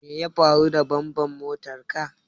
Me ya faru da bambar motan ka?